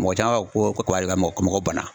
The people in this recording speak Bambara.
Mɔgɔ caman b'a fɔ ko kaba de ka mɔgɔ bana